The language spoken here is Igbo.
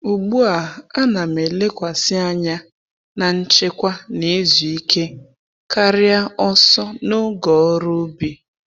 Ugbu a,a na'm elekwasị anya na nchekwa na izu ike karịa ọsọ n'oge n’ọrụ ubi.